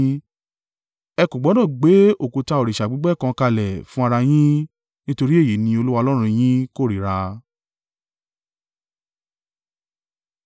Ẹ kò gbọdọ̀ gbé òkúta òrìṣà gbígbẹ́ kan kalẹ̀ fún ara yín, nítorí èyí ni Olúwa Ọlọ́run yín kórìíra.